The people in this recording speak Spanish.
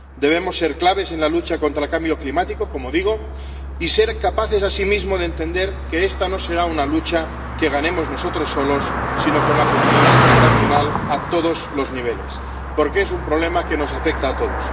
Debemos ser claves en la lucha contra el cambio climático ―como digo― y ser capaces asimismo de entender que esta no será una lucha que ganemos nosotros solos, sino con la comunidad internacional a todos los niveles, porque es un problema que nos afecta a todos.